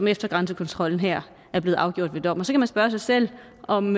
efter grænsekontrollen her blevet afgjort ved dom og så kan man spørge sig selv om